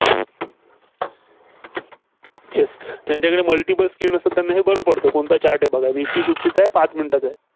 Yes त्यांच्याकडं multiple screen असतात, त्यांना हे बरं पडतं. कोणता Chart आहे बघा. निफ्टी फिफ्टीचा पाच minute चा आहे.